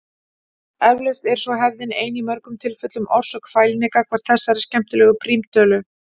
Eflaust er svo hefðin ein í mörgum tilfellum orsök fælni gagnvart þessari skemmtilegu prímtölu.